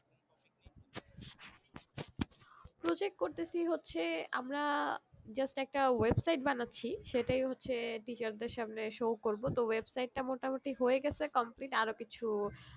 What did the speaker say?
project করতেছি হচ্ছে আমরা just একটা website বানাচ্ছি সেটাই হচ্ছে teacher দের সামনে show করবো তো website টা মোটামুটি হয়ে গেছে complete আরো কিছু